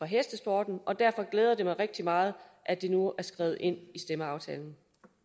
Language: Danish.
hestesporten og derfor glæder det mig rigtig meget at det nu er skrevet ind i stemmeaftalen